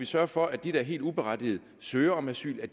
sørge for at de der helt uberettiget søger om asyl